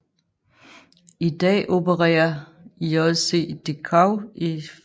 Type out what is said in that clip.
I dag opererer JCDecaux i 54 lande og 165 lufthavne